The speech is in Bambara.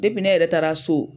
ne yɛrɛ taara so